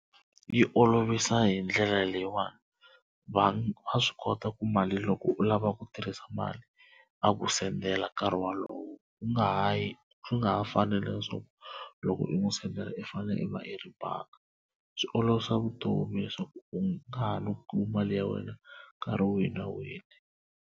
Yi olovisa hi ndlela leyiwani vanhu va swi kota ku mali loko u lava ku tirhisa mali a ku sendela nkarhi wolowo u nga ha yi nga ha fanele na swona loko u n'wi sendela i fanele i va i ri bangi swi olovisa vutomi leswaku u nga ha no kuma mali ya wena nkarhi wihi na wihi.